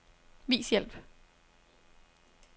Vis hjælp.